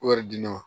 Wari di ne ma